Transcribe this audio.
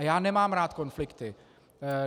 A já nemám rád konflikty.